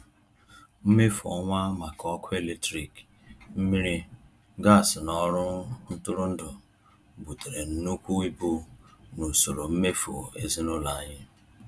Mmefu ọnwa maka ọkụ eletrik, mmiri, gas na ọrụ ntụrụndụ butere nnukwu ibu n’usoro mmefu ezinụlọ anyị.